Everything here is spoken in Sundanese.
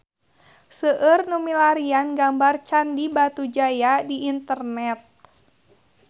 Seueur nu milarian gambar Candi Batujaya di internet